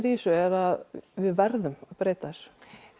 í þessu er að við verðum að breyta þessu